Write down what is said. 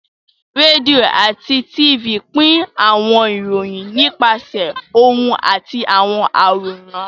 Rédíò àti Tifì pín àwọn ìròyìn nípasẹ̀ ohùn àti àwọn àwòrán